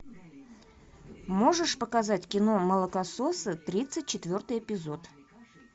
можешь показать кино молокососы тридцать четвертый эпизод